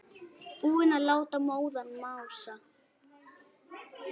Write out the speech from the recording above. Búinn að láta móðan mása.